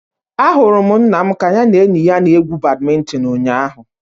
Ahụrụ m nna m ka ya na enyi ya na-egwu badminton ụnyaahụ